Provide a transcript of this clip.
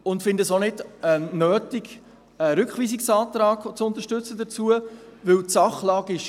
Wir finden es auch nicht nötig, einen Rückweisungsantrag zu unterstützen, da die Sachlage klar ist.